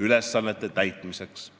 ülesannete täitmiseks.